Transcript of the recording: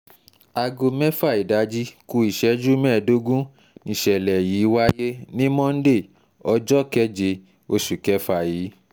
aago mẹ́fà ìdájí ku ìṣẹ́jú mẹ́ẹ̀ẹ́dógún níṣẹ̀lẹ̀ yìí wáyé ní monde ọjọ́ keje oṣù kẹfà yìí